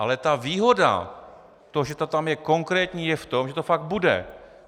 Ale ta výhoda, to, že to tam je konkrétní, je v tom, že to fakt bude.